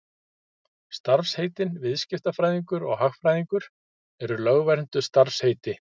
Starfsheitin viðskiptafræðingur og hagfræðingur eru lögvernduð starfsheiti.